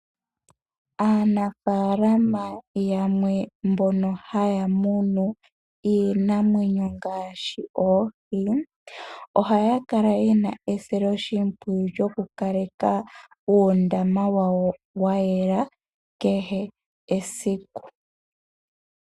Aanafaalama yamwe mbono ha ta munu iinamwenyo, ngaashi oha ya kala ye na esiloshimowiyu lyoku kaleka uundama wawo wa yela kehe esiku.